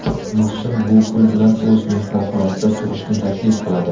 Muhsin bu pul bilan o‘z mehmonxonasida turishni taklif qiladi.